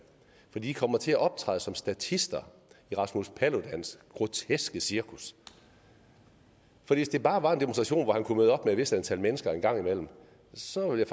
for de kommer til at optræde som statister i rasmus paludans groteske cirkus hvis det bare var en demonstration hvor han kunne møde op med et vist antal mennesker en gang imellem så vil